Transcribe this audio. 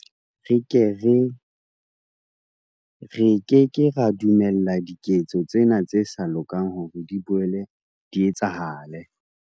Re ke ke ra dumella diketso tsena tse sa lokang hore di boele di etsahale.